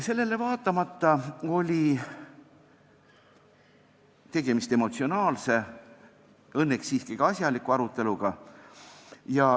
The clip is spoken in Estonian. Sellele vaatamata oli tegemist emotsionaalse, õnneks siiski asjaliku aruteluga.